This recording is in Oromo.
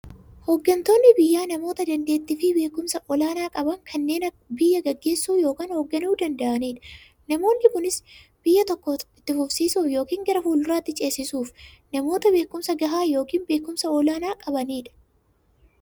Hooggantoonni biyyaa namoota daandeettiifi beekumsa olaanaa qaban, kanneen biyya gaggeessuu yookiin hoogganuu danda'aniidha. Namoonni kunis, biyya tokko itti fufsiisuuf yookiin gara fuulduraatti ceesisuuf, namoota beekumsa gahaa yookiin beekumsa olaanaa qabaniidha.